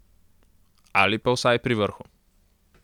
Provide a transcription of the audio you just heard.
Ali pa vsaj pri vrhu.